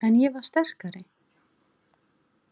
En ég var sterkari.